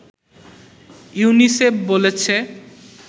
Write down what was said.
UNICEF বলেছে